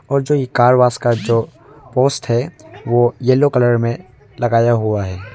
और जो ये कार वॉश जो पोस्ट है वो येलो कलर में लगाया हुआ है।